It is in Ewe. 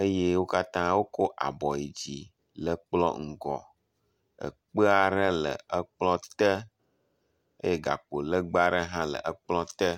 eye wo katã wokɔ abɔ yi dzi le kplɔ ŋgɔ. Ekpe aɖe le ekplɔ te eye gakpo legbe aɖe hã le ekplɔ te.